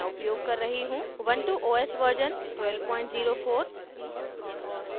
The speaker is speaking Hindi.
ubuntu os version 1204